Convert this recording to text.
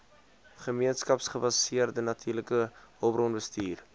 gemeenskapsgebaseerde natuurlike hulpbronbestuur